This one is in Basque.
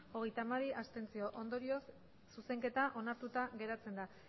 abstentzioak hogeita hamabi ondorioz zuzenketa onartuta geratzen da